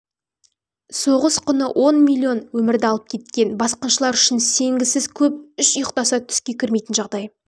соғыс құны он миллион өмірді алып кеткен басқыншылар үшін сенгісіз көп үш ұйықтаса түске кірмейтін жағдай